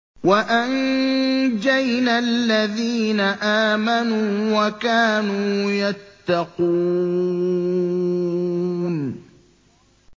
وَأَنجَيْنَا الَّذِينَ آمَنُوا وَكَانُوا يَتَّقُونَ